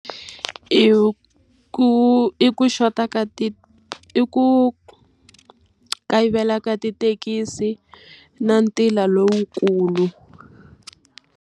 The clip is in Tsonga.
I ku i ku xota ka i ku kayivela ka tithekisi na ntila lowukulu.